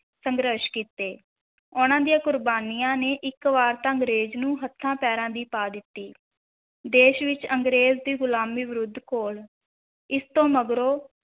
ਸੰਘਰਸ਼ ਕੀਤੇ, ਉਨ੍ਹਾਂ ਦੀਆਂ ਕੁਰਬਾਨੀਆਂ ਨੇ ਇੱਕ ਵਾਰ ਤਾਂ ਅੰਗਰੇਜ਼ ਨੂੰ ਹੱਥਾਂ ਪੈਰਾਂ ਦੀ ਪਾ ਦਿੱਤੀ, ਦੇਸ਼ ਵਿਚ ਅੰਗਰੇਜ਼ ਦੀ ਗੁਲਾਮੀ ਵਿਰੁੱਧ ਘੋਲ, ਇਸ ਤੋਂ ਮਗਰੋਂ